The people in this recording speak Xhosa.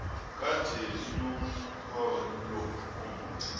kade linomhelo omde